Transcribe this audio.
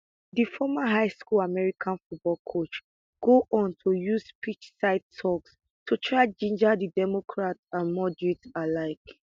di former highschool american football coach go on to use pitchside toks to try ginger di democrats and moderates alike